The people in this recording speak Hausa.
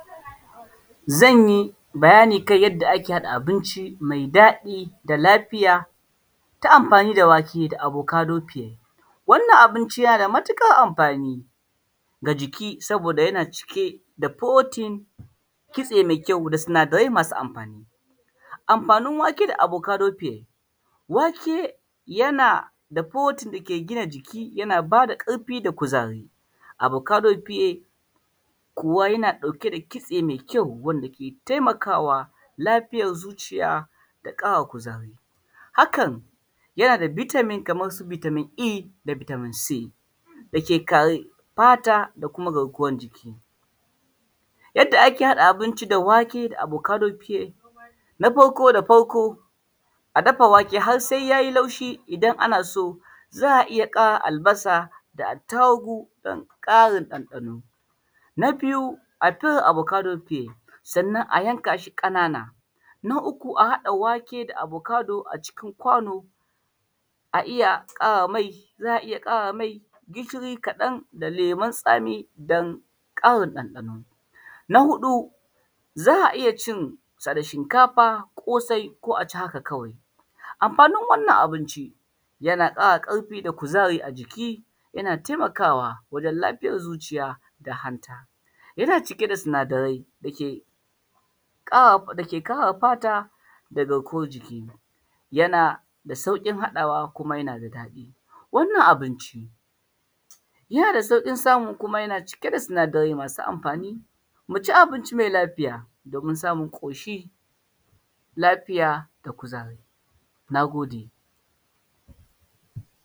Zan yi bayani kan yanda ake haɗa abinci mai daɗi da lafiya ta amfani da wake da abokadofee, wannan abinci yana da matuƙar amfani ga jiki saboda yana cike da protein, kitse mai kyau da sinadarai masu amfani. Amfanin wake da abokadofee, wake yana da protein dake gina jiki yana ba da ƙarfi da kuzari, abokadofee kuwa yana ɗauke da kitse mai kyau dake taimakawa lafitan zuciya da ƙara kuzari hakan yana da vitamin kamansu vitamin e da vitamin c dake kare fata da kuma garkuwan jiki. Yanda ake haɗa abinci da wake da abokadofee, na farko da farko a dafa wake har se ya yi taushi idan ana so za a iya ƙara albasa da attarugu domin ƙarin ɗanɗano, na biyu a tara abokadofee a yanka shi ƙanana, na uku a haɗa wake da abokado a cikin kwano za a iya ƙara me gishiri kaɗan da lemun tsami domin ƙarin ɗanɗano. Na huɗu za a iya cin shi da shinkafa, kosai ko a ci haka kawai. Amfanin wannan abinci yana ƙara ƙarfi da kuzari a jiki, yana taimakawa wajen lafiyan zuciya da hanta, yana cike da sinadarai dake ƙare fata da garkuwan jiki, yana da sauƙin haɗawa kuma yana da daɗi, wannan abinci yana da sauƙin samu kuma yana cike da sinadarai masu amfani, mu ci abinci mai lafiya domin samun ƙoshi lafiya da kuzari. Na gode.